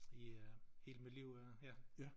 I øh hele mit liv øh ja